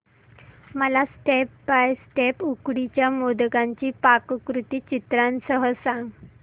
मला step by step उकडीच्या मोदकांची पाककृती चित्रांसह सांग